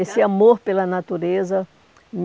Esse amor pela natureza.